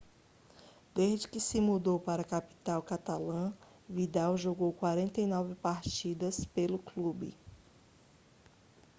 desde que se mudou para a capital catalã vidal jogou 49 partidas pelo clube